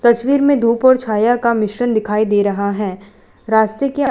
तस्वीर में धूप और छाया का मिश्रण दिखाई दे रहा है। रास्ते के--